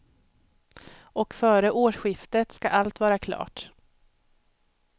Och före årsskiftet ska allt vara klart.